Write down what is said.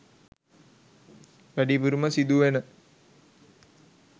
වැඩිපුරම සිදු වෙන